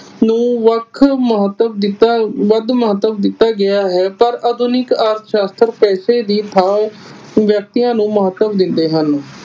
ਨੂੰ ਵੱਖ ਮਹੱਤਵ ਦਿੱਤਾ ਵੱਧ ਮਹੱਤਵ ਦਿੱਤਾ ਗਿਆ ਹੈ ਪਰ ਆਧੁਨਿਕ ਅਰਥ ਸ਼ਸਤਰ ਪੈਸੇ ਦੀ ਥਾਂ ਵਿਅਕਤੀਆਂ ਨੂੰ ਮਹੱਤਵ ਦਿੰਦੇ ਹਨ।